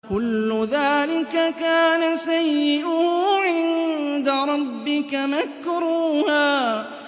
كُلُّ ذَٰلِكَ كَانَ سَيِّئُهُ عِندَ رَبِّكَ مَكْرُوهًا